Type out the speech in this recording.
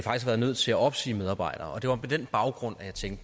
har været nødt til at opsige medarbejdere det var på den baggrund jeg tænkte